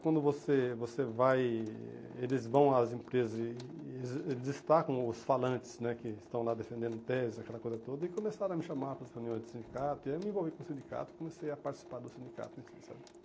Quando você você vai, eles vão às empresas e e destacam os falantes, né, que estão lá defendendo tese, aquela coisa toda, e começaram a me chamar para as reuniões do sindicato, e aí eu me envolvi com o sindicato e comecei a participar do sindicato.